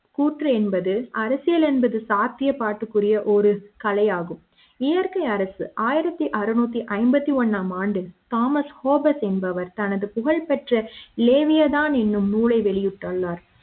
கூற்று என்பது அரசியல் என்பது சாத்தியப்பாற்றக் கூடிய ஒரு கலை ஆகும் இயற்கை அரசு ஆயிரத்து அறநூற்றி ஐம்பத்தி ஒன்னாம் ஆண்டு தாமஸ் கோபஸ் என்பவர் தனது புகழ்பெற்ற LEVIATHAN என்னும் நூலை வெளியிட்டுள்ளார்